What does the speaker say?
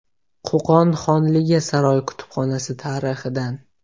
Qo‘qon xonligi saroy kutubxonasi tarixidan.